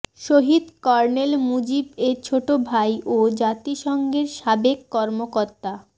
শহীদ colonel Mujib এর ছোট ভাই ও জাতিসংঘের সাবেক কর্মকর্তা